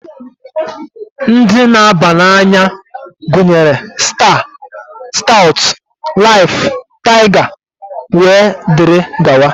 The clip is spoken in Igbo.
Ndị na-aba n'anya gunyere: Staa, Staụtụ, Laịf, Taịga wee dịrị gawa.